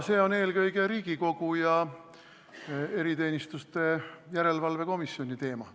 See on eelkõige Riigikogu ja eriteenistuste järelevalve komisjoni teema.